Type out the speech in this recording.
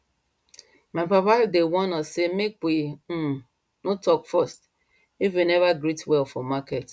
my papa dey warn us say make we um no talk first if we never greet well for market